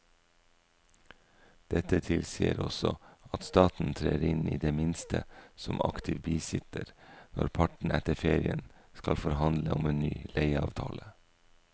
Dette tilsier også at staten trer inn i det minste som aktiv bisitter når partene etter ferien skal forhandle om en ny leieavtale.